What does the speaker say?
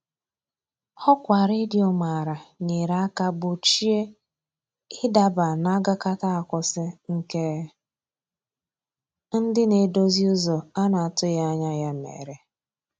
Ọkwa redio mara nyere aka gbochie ị daba n' agakata akwụsị, nke ndị na-edozi ụzọ a na-atụghị anya mere.